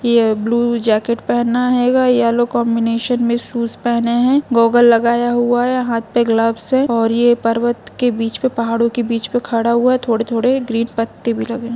ये blue jacket पहना हेगा येल्लो कॉम्बिनेशन में शूज पहना है गोगल लगाया हुआ है हात में ग्लोव्स हैऔर ये पर्वत के बिच पे पहाड़ के बिच पे खड़ा हुआ हैथोड़े थोड़े ग्रीन पत्ते भी लगे है।